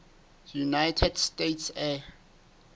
united states air